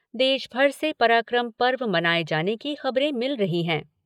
देश भर से पराक्रम पर्व मनाए जाने की खबरें मिल रही हैं।